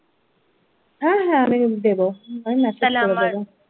হ্যাঁ হ্যাঁ আমি দেবো তাহলে আমা !